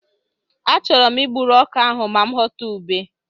Achọrọ m I gburu ọka ahụ ma ghọta ube.